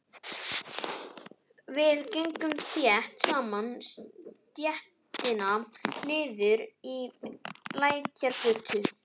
Við gengum þétt saman stéttina niður í Lækjargötu.